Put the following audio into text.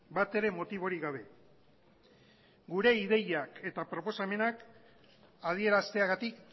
bat ere motiborik gabe gure ideiak eta proposamenak adierazteagatik